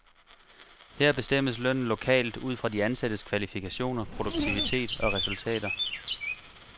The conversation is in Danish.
Her bestemmes lønnen lokalt ud fra de ansattes kvalifikationer, produktivitet og resultater.